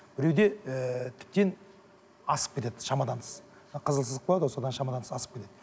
біреуде ііі тіптен асып кетеді шамадан тыс қызыл сызып қояды ғой содан шамадан тыс асып кетеді